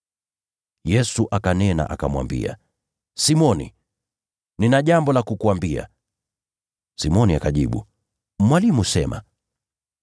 Yesu akanena akamwambia, “Simoni, nina jambo la kukuambia.” Simoni akajibu, “Mwalimu, sema.”